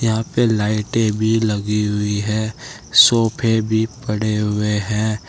यहां पे लाइटें भी लगी हुई है सोफे भी पड़े हुए हैं।